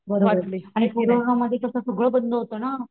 बरोबर आणि कोरोना मधी कस सगळं बंद होत ना.